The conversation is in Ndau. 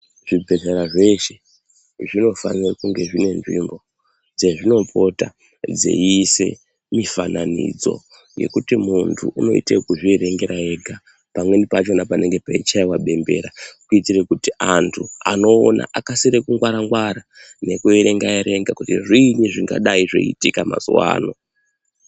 Zvibhedhlera zveshe zvinofanira kunge dzine nzvimbo dzezvinopota dzeiise zvifananidzo yekuti muntu unoite ekuzvierengera ega .Pamweni pacho panenge peichaiwa bembera kuite kuti antu anoona akasike kungwarangwara nekuerenga erenga kuti zviinyi zvingadai zveiitika mazuwa ano .